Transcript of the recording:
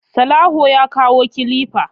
Salawu ya kawo kilifa